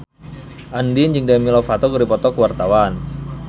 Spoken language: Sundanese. Andien jeung Demi Lovato keur dipoto ku wartawan